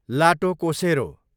लाटोकोसेरो